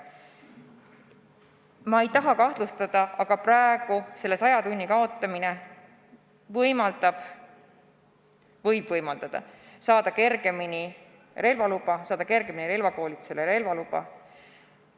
Ma ei taha kahtlustada, aga tundub, et praeguse saja tunni nõude kaotamine võib teha võimalikuks saada kergemini relvakoolitusele ja omandada relvaluba.